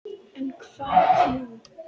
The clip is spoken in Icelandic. En hvað nú?